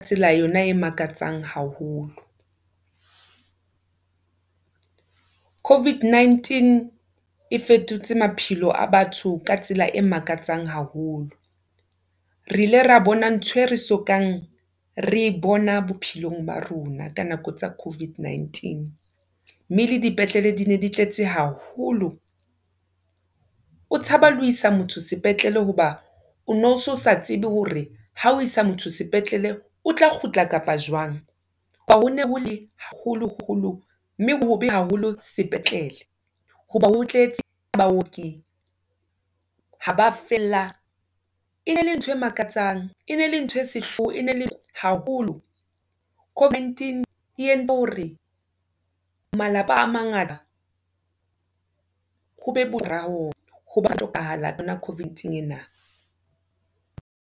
Tsela yona e makatsang haholo. Covid19 e fetotse maphelo a batho ka tsela e makatsang haholo. Re ile ra bona ntho e re sokang re e bona bophelong ba rona ka nako tsa Covid19, mme le dipetlele di ne di tletse haholo. O tshaba le ho isa motho sepetlele hoba ono so sa tsebe hore ha o isa motho sepetlele, o tla kgutla kapa jwang. Ho hone hole haholoholo mme hobe haholo sepetlele, hoba ho tletse baoki ha ba fella, e ne le ntho e makatsang, e ne le ntho e sehloho, e ne le haholo. Covid19 e entse hore malapa a mangata ho be ho hona Covid-ing ena.